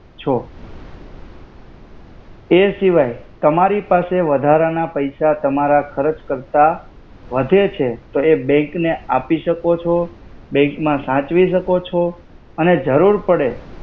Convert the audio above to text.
છો. એ સિવય તમારી પાસે વધારાના પૈસા તમારા ખરચ કર્તા વધે છે તો એ બેંક ને આપિ સકો છો. બેંક મા સાચ્વી સકો છો. અને જર્રુરુ પડે